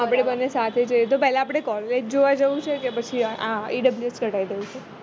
આપણે બંને સાથે જઈશું તો આપણે એલ college જોવા જવું છે કે પછી આ EWF કઢાય લેવું છે